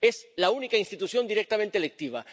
Es la única institución directamente electiva.